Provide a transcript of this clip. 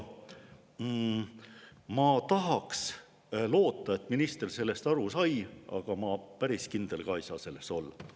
Ma tahaks loota, et minister sellest aru sai, aga ma päris kindel ei saa selles olla.